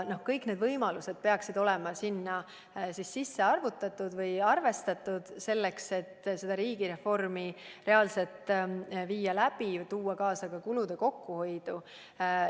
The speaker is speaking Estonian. Kõik need võimalused peaksid olema arvesse võetud, et seda riigireformi reaalselt läbi viia ja saavutada ka kulude kokkuhoidu.